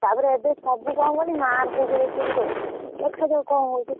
ତାପରେ ଏବେସବୁ କଣକହିଲୁ mark କୁ ଦେଖିକି ଦଉଛନ୍ତି ଦେଖାଯାଉ କଣ ହଉଛି?